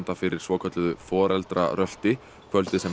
fyrir svokölluðu foreldrarölti kvöldið sem